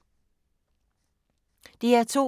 DR2